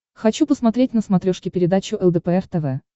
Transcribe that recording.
хочу посмотреть на смотрешке передачу лдпр тв